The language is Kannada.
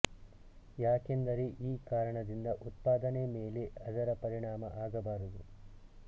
ಯಾಕೆಂದರೆ ಈ ಕಾರಣದಿಂದ ಉತ್ಪಾದನೆ ಮೇಲೆ ಅದರ ಪರಿಣಾಮ ಆಗಬಾರದು